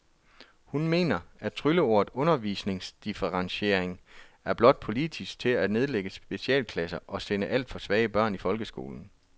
Hun mener, at trylleordet undervisningsdifferentiering er brugt politisk til at nedlægge specialklasser og sende alt for svage børn i folkeskolen.